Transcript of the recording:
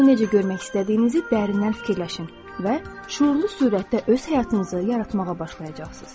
Onu necə görmək istədiyinizi dərindən fikirləşin və şüurlu sürətdə öz həyatınızı yaratmağa başlayacaqsınız.